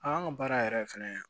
An ka baara yɛrɛ fɛnɛ